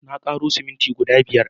Na ƙaro siminti guda biyar